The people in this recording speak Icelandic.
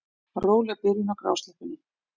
Róleg byrjun á grásleppunni